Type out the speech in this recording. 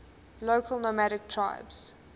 local nomadic tribes